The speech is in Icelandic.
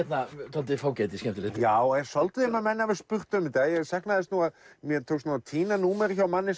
dálítið fágæti skemmtilegt já það er svolítið um að menn hafi spurt um þetta ég sakna þess nú að mér tókst nú að týna númeri hjá manni